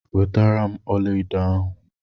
wetaram ọlaedo ahu!